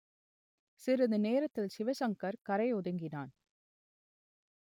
சிறிது நேரத்தில் சிவசங்கர் கரை ஒதுங்கினான்